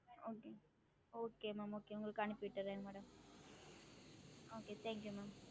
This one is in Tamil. Okay okay mam okay உங்களுக்கு அனுப்பிவிட்டுரன் madam okay thank you mam